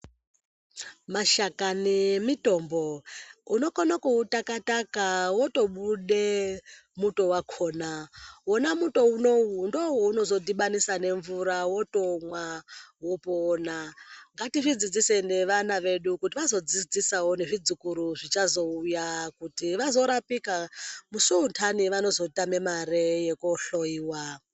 Mashakani emitombo unokona kutakataka wotobude muto wakona. Wona muto unou ndowounozodhibanisa nemvura wotomwa wopona. Ngatizvidzidzise nevana vedu kuti vazodzidzisawo nezvizukuru zvichazouya kuti vazorapika, musi untani vanozotame mare yekohloyiwa.